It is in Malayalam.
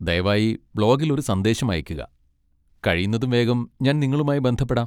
ദയവായി ബ്ലോഗിൽ ഒരു സന്ദേശം അയക്കുക, കഴിയുന്നതും വേഗം ഞാൻ നിങ്ങളുമായി ബന്ധപ്പെടാം.